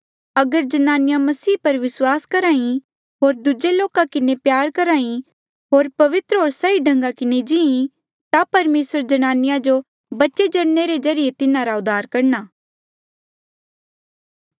अगर ज्नानिया मसीह पर विस्वास करही होर दूजे लोका किन्हें प्यार करही होर पवित्र होर सही ढंगा किन्हें जी ता परमेसर जनानिया जो बच्चे जणने रे ज्रीए तिन्हारा उद्धार करणा